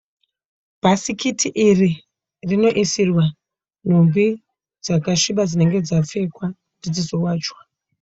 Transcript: Bhasikiti iri rinoisirwa nhumbi dzakasviba dzinenge dzapfekwa kuti dzizowachwa.